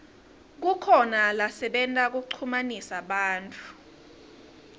kukhona lasebenta kuchumanisa bantfu